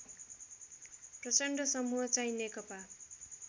प्रचण्ड समूहचाहिँ नेकपा